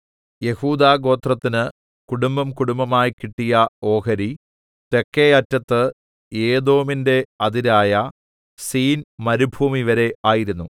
യെഹൂദാഗോത്രത്തിന് കുടുംബംകുടുംബമായി കിട്ടിയ ഓഹരി തെക്കെ അറ്റത്ത് ഏദോമിന്റെ അതിരായ സീൻമരുഭൂമിവരെ ആയിരുന്നു